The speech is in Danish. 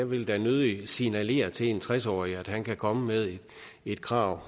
ville da nødig signalere til en tres årig at han kan komme med et krav